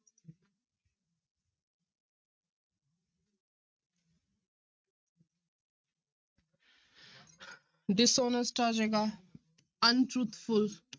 Dishonest ਆ ਜਾਏਗਾ untruthful